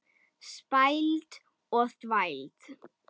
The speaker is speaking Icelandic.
Spæld og þvæld.